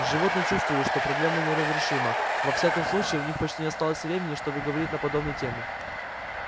животные чувствовали что проблема неразрешима во всяком случае у них почти не оставалось времени чтобы говорить на подобные темы